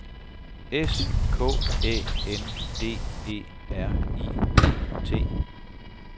S K Æ N D E R I E T